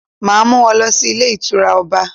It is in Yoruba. Màá mú won lọ sí Ilé Ìtura Ọba